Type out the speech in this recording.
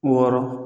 Wɔɔrɔ